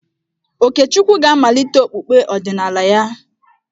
Okechukwu ga-amalite okpukpe ọdịnala ya.